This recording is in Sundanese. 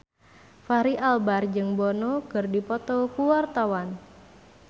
Fachri Albar jeung Bono keur dipoto ku wartawan